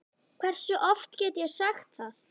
Hversu oft get ég sagt það?